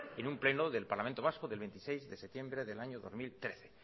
en un pleno del parlamento vasco del veintiséis de septiembre del año dos mil trece